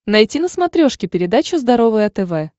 найти на смотрешке передачу здоровое тв